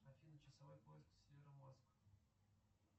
афина часовой пояс североморск